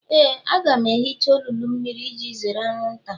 Éè, a ga m ehicha olulu mmiri iji zere anwụnta